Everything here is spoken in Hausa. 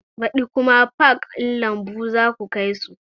Baɗi kuma pak ɗin lambu zaku kai su